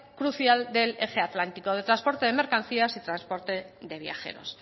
crucial del eje atlántico del transporte de mercancías y transporte de viajeros